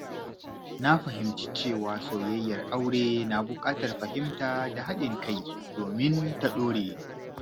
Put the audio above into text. Na fahimci cewa soyayyar aure na buƙatar fahimta da haɗin kai domin ta ɗore.